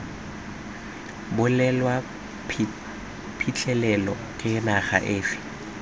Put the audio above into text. bulelwa phitlhelelo ke naga efe